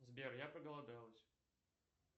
сбер я проголодалась